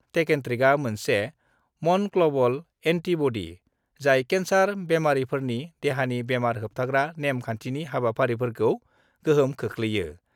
टेकेन्ट्रिकआ मोनसे मनक्लबल एन्टिबडि, जाय केन्सार बेमारिफोरनि देहानि बेमार होबथाग्रा नेम-खान्थिनि हाबाफारिफोरखौ गोहोम खोख्लैयो।